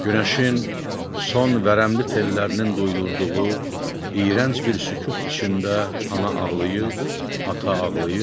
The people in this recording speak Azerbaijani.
Günəşin son vərəmli tellərinin duyurduğu iyrənc bir sükut içində ana ağlayır, ata ağlayır.